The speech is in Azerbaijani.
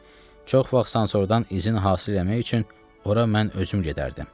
Çox vaxt sansordan izin hasil eləmək üçün ora mən özüm gedərdim.